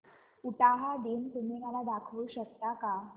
उटाहा दिन तुम्ही मला दाखवू शकता का